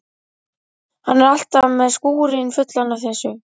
Hann er alltaf með skúrinn fullan af þessu.